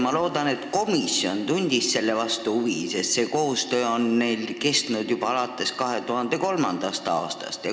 Ma loodan, et komisjon tundis selle vastu huvi, sest see koostöö on neil kestnud juba alates 2003. aastast.